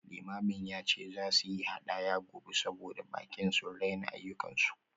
Limamin ya ce za su yi hadaya gobe saboda baƙi sun raina ayyukansu